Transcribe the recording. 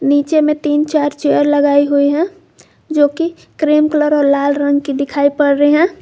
नीचे में तीन चार चेयर लगाई हुई है जो कि क्रीम कलर और लाल रंग की दिखाई पड़ रही है।